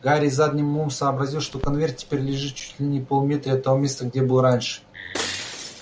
гарри задним умом сообразил что конверт теперь лежит чуть не в полуметре от того места где был раньше